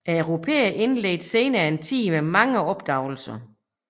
Europæerne indledte senere en tid med mange opdagelser